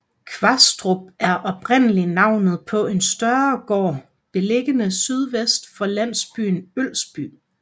Kvastrup er oprindelig navnet på en større gård beliggende sydvest for landsbyen Ølsby